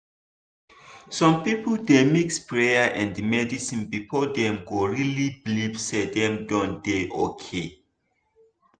some people dey mix prayer and medicine before dem go really believe say dem don dey okay.